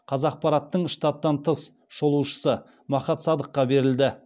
қазақпараттың штаттан тыс шолушысы махат садыққа берілді